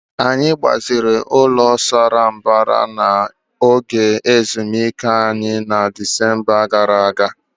Anyị gbaziri ụlọ condominium sara mbara n'oge ezumike anyị na Disemba gara aga.